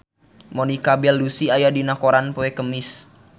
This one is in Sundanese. Monica Belluci aya dina koran poe Kemis